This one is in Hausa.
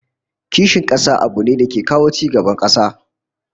Kishin kasa abu ne da ke kawo ci gaban kasa